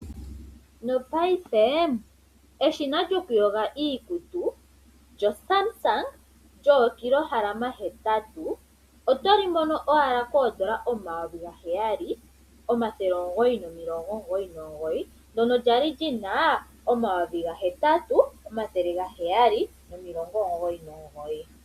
No paife eshina lyoku yoga iikutu lyoSamsung lyoKilogram hetatu. Otoli mono owala koodollar omayovi gaheyali omathele omugoyi nomilongo omugoyi nomugoyi. Ndono lyali lyina omayovi gahetatu omathele gaheyali nomilongo omugoyi nomugoyi.